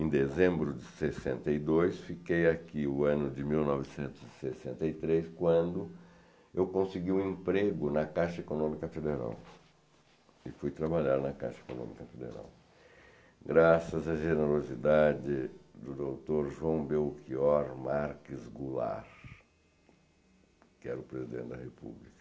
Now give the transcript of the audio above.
em dezembro de sessenta e dois, fiquei aqui o ano de mil novecentos e sessenta e três, quando eu consegui um emprego na Caixa Econômica Federal, e fui trabalhar na Caixa Econômica Federal, graças à generosidade do doutor João Belchior Marques Goulart, que era o presidente da República.